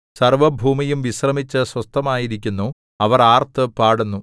സർവ്വഭൂമിയും വിശ്രമിച്ച് സ്വസ്ഥമായിരിക്കുന്നു അവർ ആർത്തുപാടുന്നു